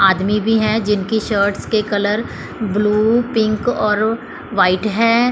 आदमी भी है जिनकी शर्ट्स के कलर ब्लू पिंक और वाइट है।